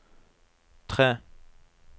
tre